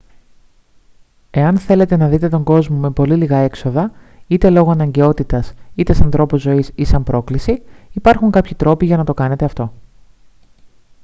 εάν θέλετε να δείτε τον κόσμο με πολύ λίγα έξοδα είτε λόγω αναγκαιότητας είτε σαν τρόπο ζωής ή σαν πρόκληση υπάρχουν κάποιοι τρόποι για να το κάνετε αυτό